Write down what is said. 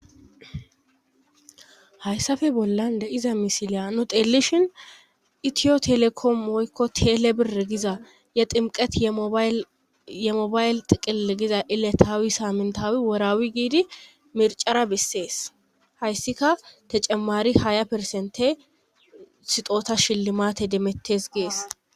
Hayssafe bollan de iza misiliyanu teelishin itiyo telekom moykko teelle bir giza ye ximqet yeemobayle xiqeele giza iletaawi saamentawi woraawi giidi mircara bessees hayssika te cemmari haya persente sixoota shilli maate demettes gees.